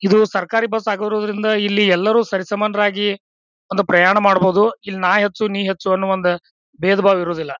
ಇದು ಸರಕಾರಿ ಬಸ್ ಆಗಿರೋದ್ರಿಂದ ಇಲ್ಲಿ ಎಲ್ಲರು ಸರಿಸಮಾನರಾಗಿ ಒಂದು ಪ್ರಯಾಣ ಮಾಡಬಹುದು. ಇಲ್ಲಿ ನಾ ಹೆಚ್ಚು ನೀ ಹೆಚ್ಚು ಅನ್ನುವ ಒಂದು ಭೇದ-ಭಾವ ಇರುವುದಿಲ್ಲ.